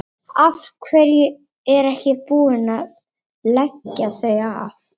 Af hverju er ekki búið að leggja þau af?